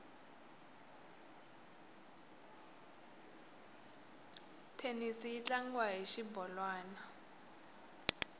thenisi yi tlangiwa hi xibolwani